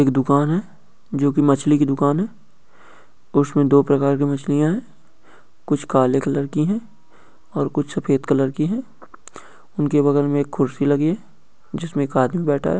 एक दुकान है जो की मछली की दुकान है और उसमे दो प्रकार की मछलियाँ है कुछ काले कलर की है और कुछ सफेद कलर की है उनके बगल मे कुछ खुर्सी लगी है जिस में एक आदमी बैठा है ।